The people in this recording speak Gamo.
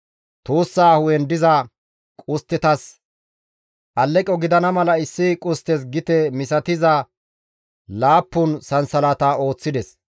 Tuussaa hu7en diza qusttetas alleqo gidana mala issi qusttes gite misatiza laappun sansalata ooththides.